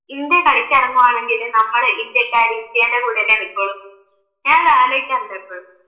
India കളിക്കിറങ്ങുവാണെങ്കില് നമ്മള് ഇന്ത്യക്കാര് ഇന്ത്യയുടെ കൂടയല്ലേ നിക്കുള്ളൂ, ഞാൻ അത് ആലോചിക്കാറുണ്ട് എപ്പോഴും